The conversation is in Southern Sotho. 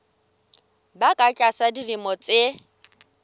ba ka tlasa dilemo tse